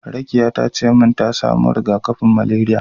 Rakiya tace min ta samo riga-kafin malariya.